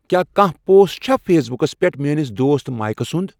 کیٛاہ کانٛہہ پوسٹ چھَا فیس بُکَس پٮ۪ٹھ میٲنِس دوست مائیک سُنٛد